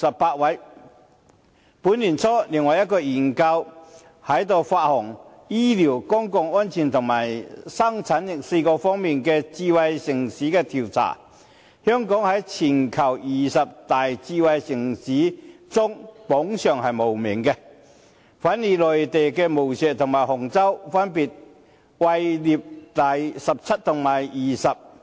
本年年初，另外一項研究在出行、醫療、公共安全和生產力4個方面的智慧城市調查，全球二十大智慧城市香港榜上無名，反而內地的無錫和杭州分別位列第十七位及第二十位。